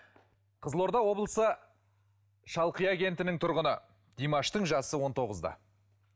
қызылорда облысы шалқия кентінің тұрғыны димаштың жасы он тоғызда